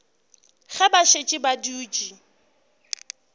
ge ba šetše ba dutše